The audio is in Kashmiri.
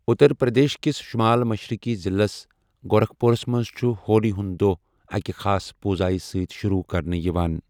اُترپرٛدیش کِس شُمال مشرِقی ضِلعس، گورَکھپوٗرس منٛز چُھ ہولی ہُنٛد دۄہ اَکہِ خاص پوٗزایہِ سۭتۍ شُروٗع کرنہٕ یِوان ۔